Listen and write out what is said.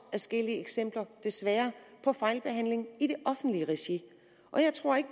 adskillige eksempler desværre på fejlbehandling i det offentlige regi jeg tror ikke